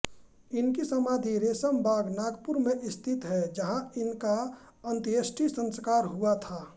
इनकी समाधि रेशम बाग नागपुर में स्थित है जहाँ इनका अंत्येष्टि संस्कार हुआ था